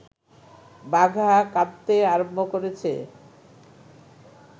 বাঘা কাঁদতে আরম্ভ করেছে